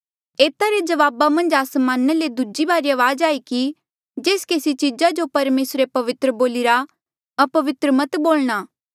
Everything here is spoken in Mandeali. एता रे जवाबा मन्झ आसमाना ले दूजी बारी अवाज आई कि जेस केसी चीजा जो परमेसरे पवित्र बोलिरा अपवित्र मत बोलणा